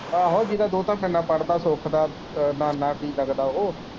ਆਹੋ ਜੀਹਦਾ ਦੋਹਤਾ ਮੇਰੇ ਨਾਲ ਪੜਦਾ ਸੁੱਖ ਦਾ ਨਾਨਾ ਕੀ ਲਗਦਾ ਉਹ।